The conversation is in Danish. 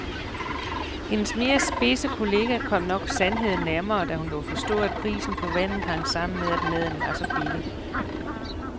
Hendes mere spidse kollega kom nok sandheden nærmere, da hun lod forstå at prisen på vandet hang sammen med at maden var så billig.